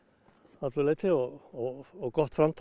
öllu leyti og og gott framtak